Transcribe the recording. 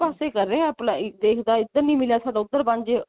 ਪਾਸੇ ਕਰ ਰਿਹਾ apply ਦੇਖਦਾ ਇੱਧਰ ਨੀ ਮਿਲਿਆ ਸਾਡਾ ਉੱਧਰ ਬਣ ਜਾਵੇ